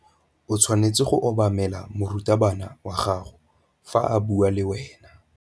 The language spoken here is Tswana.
O tshwanetse go obamela morutabana wa gago fa a bua le wena.